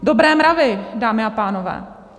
Dobré mravy, dámy a pánové.